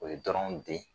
O ye dɔrɔnw den